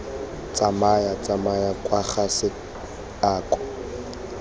tsamaya tsamaya kwa ga seako